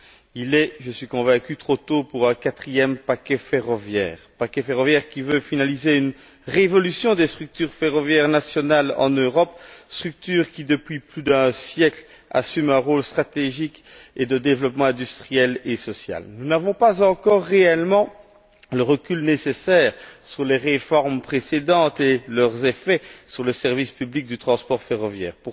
Il est, j'en suis convaincu, trop tôt pour un quatrième paquet ferroviaire, lequel entend finaliser une révolution des structures ferroviaires nationales en Europe structures qui, depuis plus d'un siècle, assument un rôle stratégique et de développement industriel et social. Nous n'avons pas encore réellement le recul nécessaire vis à vis des réformes précédentes et de leurs effets sur le service public du transport ferroviaire.